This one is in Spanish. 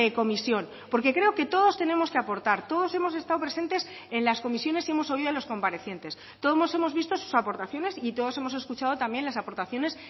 comisión porque creo que todos tenemos que aportar todos hemos estado presentes en las comisiones y hemos oído a los comparecientes todos hemos visto sus aportaciones y todos hemos escuchado también las aportaciones